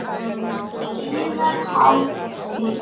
Yðar Hátign!